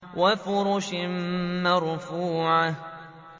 وَفُرُشٍ مَّرْفُوعَةٍ